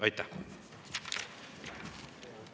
Aitäh!